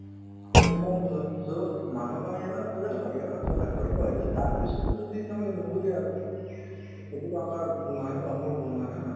এইতো তোমাৰ ভুল হয় । so, মানুহক আমি এবাৰ বুজাব লাগে। এবাৰ সজাগ কৰিব লাগে । যদি তাৰপিছতো যদি তেওঁ নুবোজে আৰু সেইটোতো আমাৰ ভুল নহয় ন বা মোৰ ভুল নহয় । হয় ন হয় ?